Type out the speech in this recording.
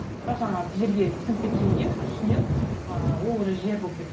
бірақ жаңағы жерге сіңіп кеткеннен кейін үстінен ыыы ол уже жер болып кетті